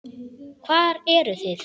Hvar eruð þið?